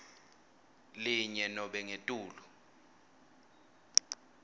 linye nobe ngetulu